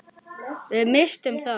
Við misstum þá.